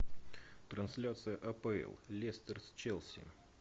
трансляция апл лестер с челси